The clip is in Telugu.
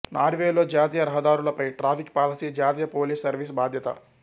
నార్వేలో జాతీయ రహదారులపై ట్రాఫిక్ పాలసీ జాతీయ పోలీస్ సర్వీస్ బాధ్యత